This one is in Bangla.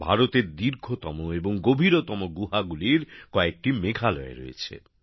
ভারতের দীর্ঘতম এবং গভীরতম গুহাগুলির কয়েকটি মেঘালয় রয়েছে